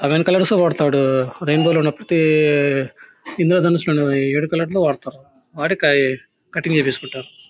Seven colours తో కొడతాడు rainbow లో ఉన్న ప్రతి ఇంద్రధనస్సులో ఉన్నవి ఏడు కలర్లు వాడతాడు.వాడి కటింగ్ చేపించుకుంటారు.